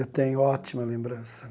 Eu tenho ótima lembrança.